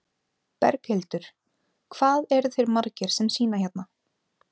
Berghildur: Hvað eru þeir margir sem sýna hérna?